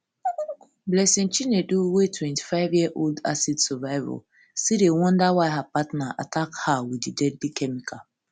blessing chinedu wey twenty-five year old acid survivor still dey wonder why her partner attack her her wit di deadly chemical